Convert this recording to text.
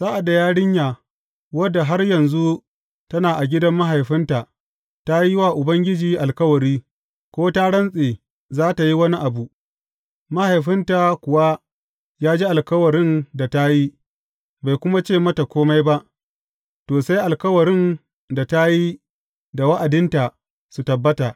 Sa’ad da yarinya, wadda har yanzu tana a gidan mahaifinta ta yi wa Ubangiji alkawari, ko ta rantse za tă yi wani abu, mahaifinta kuwa ya ji alkawarin da ta yi, bai kuma ce mata kome ba, to, sai alkawarin da ta yi da wa’adinta su tabbata.